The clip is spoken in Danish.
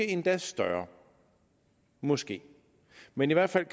endda større måske men i hvert fald er